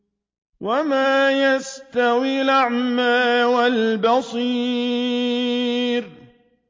وَمَا يَسْتَوِي الْأَعْمَىٰ وَالْبَصِيرُ